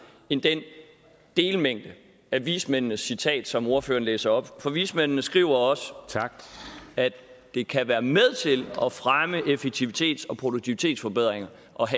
end den delmængde af vismændenes citat som ordføreren læser op for vismændene skriver også at det kan være med til at fremme effektivitets og produktivitetsforbedringer